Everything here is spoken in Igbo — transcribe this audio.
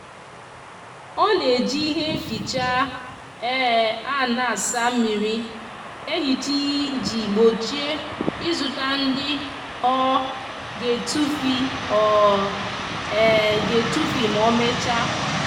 o n'eji ihe nficha um a n'asa mmiri ehicha iji gbochie izuta ndi o um g'etufi o um g'etufi ma omecha